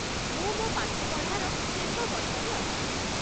ମୁଁ ମୋ ପାଠପଢ଼ାର ଶେଷବର୍ଷରେ ଅଛି।